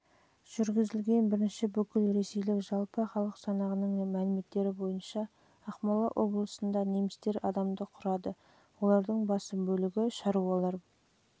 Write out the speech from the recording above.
жылы жүргізілген бірінші бүкілресейлік жалпы халық санағының мәліметтері бойынша ақмола облысында немістер адамды құрады олардың басым бөлігі шаруалар